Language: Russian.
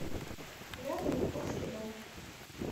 рядом японский дом